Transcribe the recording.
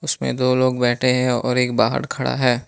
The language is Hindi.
उसमें दो लोग बैठे हैं और एक बाहर खड़ा है।